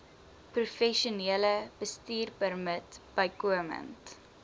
professionele bestuurpermit bykomend